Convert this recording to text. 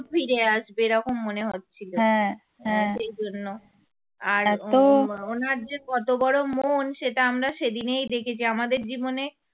ফিরে আসবে এরকম মনে হচ্ছিল সেই জন্য আর উনার যে কত বড় মন সেটা আমরা সেদিনেই দেখেছি আমদের জীবনে